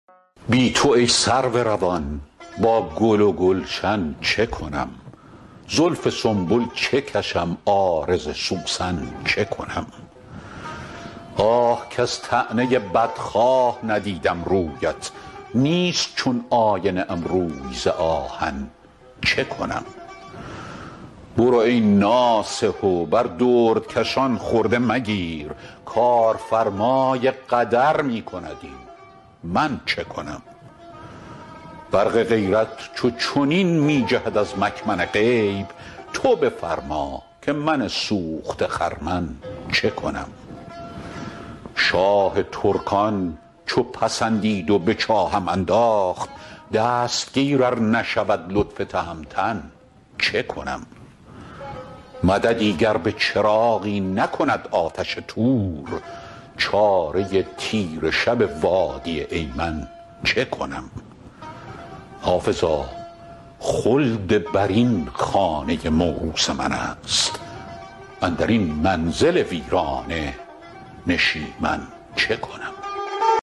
بی تو ای سرو روان با گل و گلشن چه کنم زلف سنبل چه کشم عارض سوسن چه کنم آه کز طعنه بدخواه ندیدم رویت نیست چون آینه ام روی ز آهن چه کنم برو ای ناصح و بر دردکشان خرده مگیر کارفرمای قدر می کند این من چه کنم برق غیرت چو چنین می جهد از مکمن غیب تو بفرما که من سوخته خرمن چه کنم شاه ترکان چو پسندید و به چاهم انداخت دستگیر ار نشود لطف تهمتن چه کنم مددی گر به چراغی نکند آتش طور چاره تیره شب وادی ایمن چه کنم حافظا خلدبرین خانه موروث من است اندر این منزل ویرانه نشیمن چه کنم